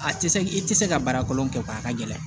A tɛ se i tɛ se ka baara kolon kɛ a ka gɛlɛn